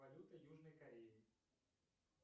валюта южной кореи